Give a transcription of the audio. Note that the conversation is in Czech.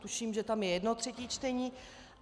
Tuším, že tam je jedno třetí čtení.